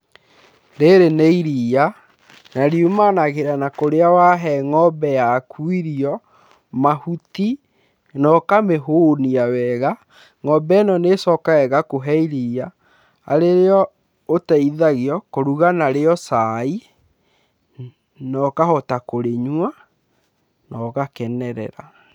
Rĩrĩ nĩ iria nariumanagĩra na kũrĩa wahe ng'ombe yaku irio, mahuti naũkamĩhũnia wega, ng'ombe ĩno nĩĩcokaga ĩgakũhe iria arĩrĩo ũteithagio kũruga narĩo cai, nokahota kũrĩnyua nogakenerera.